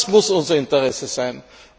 Das muss unser Interesse sein.